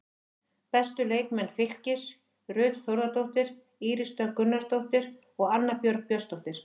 Bestu leikmenn Fylkis: Ruth Þórðardóttir, Íris Dögg Gunnarsdóttir og Anna Björg Björnsdóttir.